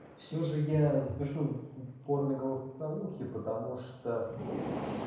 всё же я запишу в форме голосовухи потому что